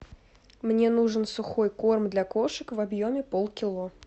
мне нужен сухой корм для кошек в объеме полкило